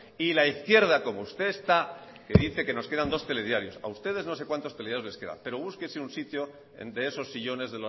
y la izquierda como usted está que dice que nos quedan dos telediario a ustedes no sé cuantos telediarios les quedan pero búsquese un sitio de esos sillones